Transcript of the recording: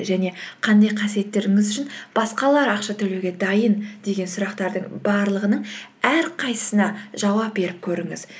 және қандай қасиеттеріңіз үшін басқалар ақша төлеуге дайын деген сұрақтардың барлығының әрқайсысына жауап беріп көріңіз